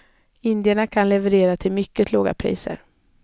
Indierna kan leverera till mycket låga priser.